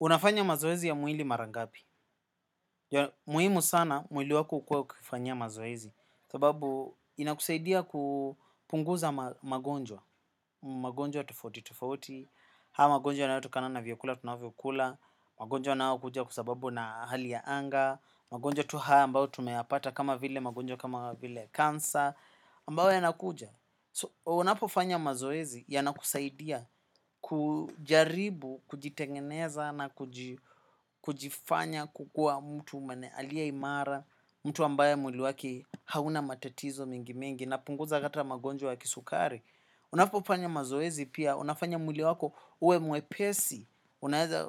Unafanya mazoezi ya mwili mara ngabi. Muwimu sana, mwili wako ukua ukifanyia mazoezi. Sababu, inakusaidia kupunguza magonjwa. Magonjwa tofauti, tofauti. Hau, magonjwa yanatokana na vyakula, tunavyokula. Magonjwa nau kuja kua zababu na hali ya anga. Magonjwa tu haa, ambao tumeapata kama vile magonjwa, kama vile kansa. Ambayo yanakuja. Unapofanya mazoezi, yanakusaidia kujaribu, kujitengeneza na kujifanya kukua mtu mene alia imara, mtu ambaye mwili wake hauna matatizo mingi mengi napunguza hata magonjwa ya kisukari. Unapo fanya mazoezi pia, unafanya mwili wako ue muepesi,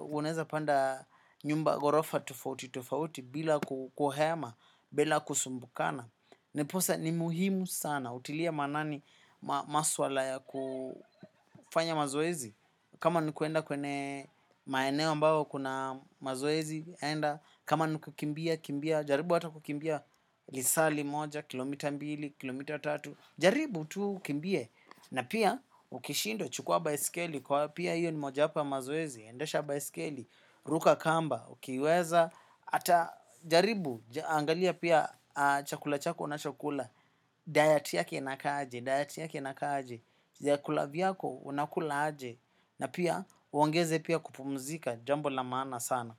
unaeza panda nyumba gorofa tofauti tofauti bila kuhema, bila kusumbukana. Ndiposa ni muhimu sana utilia manani maswala ya kufanya mazoezi. Kama nikuenda kwenye maeneo ambao kuna mazoezi kama ni kukimbia, kimbia, jaribu hata kukimbia lisali moja, kilomita mbili, kilomita tatu. Jaribu tu kimbie na pia ukishindwa chukua baisikeli. Kwa pia hiyo ni mojapa mazoezi, endesha baisikeli, ruka kamba. Ukiweza, ata jaribu, angalia pia chakula chako nacho kula Diet yake nakaje, diet yake nakaje vyakula viyako, unakula aje. Na pia, uongeze pia kupumzika jambo lamana sana.